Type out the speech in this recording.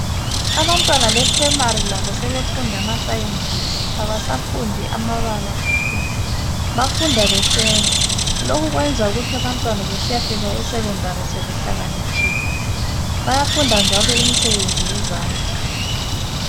Abantwana be primary labo sebefunda ama sciences , abasafundi amabala kuphela , bafunda besenza lokhu kwenza ukuthi abantwana sebesiyafika esecondary sebehlakaniphile , bayafunda njalo imsebenzi yezandla